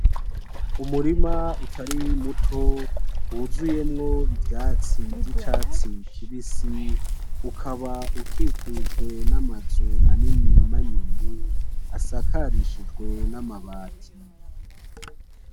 Umurima utari muto wuzuyemo ivyatsi vyicatsi kibisi ukaba ukikujwe namazu manini manini asakarishijwe namabati.